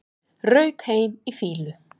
Rauk heim í fýlu